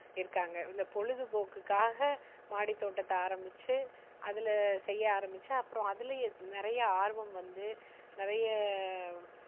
இருக்காங்க. இந்த பொழுதுபோக்குக்காக மாடித்தோட்டத்தை ஆரம்பிச்சு, அதுல செய்ய ஆரம்பிச்சு அப்புறம் அதுலேயே நிறைய ஆர்வம் வந்து நிறைய